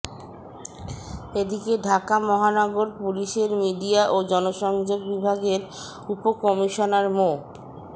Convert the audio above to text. এদিকে ঢাকা মহানগর পুলিশের মিডিয়া ও জনসংযোগ বিভাগের উপকমিশনার মো